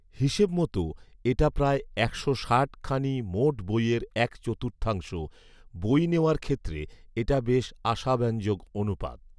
হিসেবমত এটা প্রায় একশো ষাটখানি মোট বইয়ের এক চতুর্থাংশ, বই নেওয়ার ক্ষেত্রে এটা বেশ আশাব্যঞ্জক অনুপাত